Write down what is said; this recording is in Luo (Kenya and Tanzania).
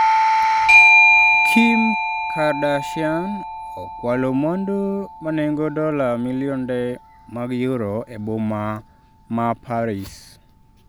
Kim Kardashian okwalo mwandu manengo dola milionde mag yuro e boma ma Paris